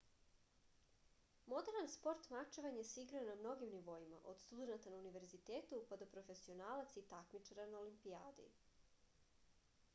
moderan sport mačevanje se igra na mnogim nivoima od studenata na univerzitetu pa do profesionalaca i takmičara na olimpijadi